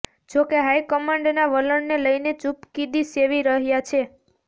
જો કે હાઇકમાન્ડના વલણને લઇને ચૂપકિદી સેવી રહ્યાં છે